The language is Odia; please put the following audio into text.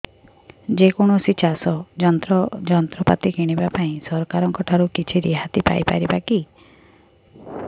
ଯେ କୌଣସି ଚାଷ ଯନ୍ତ୍ରପାତି କିଣିବା ପାଇଁ ସରକାରଙ୍କ ଠାରୁ କିଛି ରିହାତି ପାଇ ପାରିବା କି